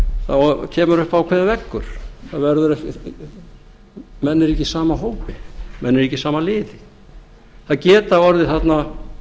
þá kemur upp ákveðinn veggur menn eru ekki í sama hópi menn eru ekki í sama liði það getur orðið þarna